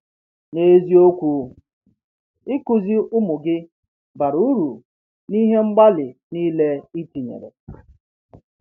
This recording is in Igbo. N’eziokwu, ịkụzi ụmụ gị bara uru n’ihe mgbalị niile i tinyere.